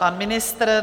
Pan ministr?